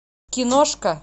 киношка